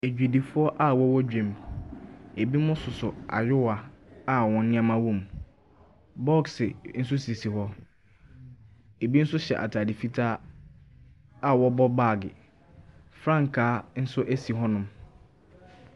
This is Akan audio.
Adwadifoɔ a wɔn wɔ dwa mu. Ebinom soso ayewa a wɔn nneɛma wɔ mu. Bɔksi nso sisi hɔ. Ebi nso hyɛ ataade fitaa a wɔn bɔ baage. Frankaa nso ɛsi hɔnom.